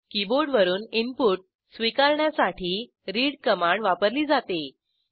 कीबोर्डवरून input स्वीकारण्यासाठी read command वापरली जाते